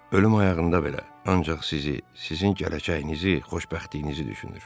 Ölüm ayağında belə, ancaq sizi, sizin gələcəyinizi, xoşbəxtliyinizi düşünür.